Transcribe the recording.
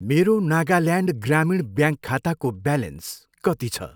मेरो नागाल्यान्ड ग्रामीण ब्याङ्क खाताको ब्यालेन्स कति छ?